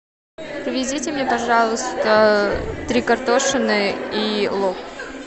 привезите мне пожалуйста три картошины и лук